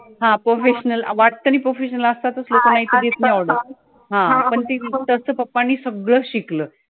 हा professional वाटतं नाही professional हा पण त्याचं papa नि सगळं शिकलं